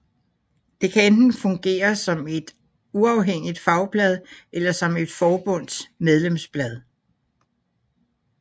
Det kan enten fungere som et uafhængigt fagblad eller som et forbunds medlemsblad